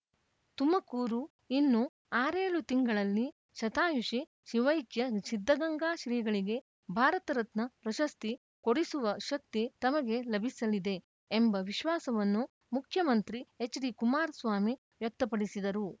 ತುಮಕೂರು ಇನ್ನು ಆರೇಳು ತಿಂಗಳಲ್ಲಿ ಶತಾಯುಷಿ ಶಿವೈಕ್ಯ ಸಿದ್ಧಗಂಗಾ ಶ್ರೀಗಳಿಗೆ ಭಾರತರತ್ನ ಪ್ರಶಸ್ತಿ ಕೊಡಿಸುವ ಶಕ್ತಿ ತಮಗೆ ಲಭಿಸಲಿದೆ ಎಂಬ ವಿಶ್ವಾಸವನ್ನು ಮುಖ್ಯಮಂತ್ರಿ ಎಚ್‌ಡಿಕುಮಾರ್ ಸ್ವಾಮಿ ವ್ಯಕ್ತಪಡಿಸಿದರು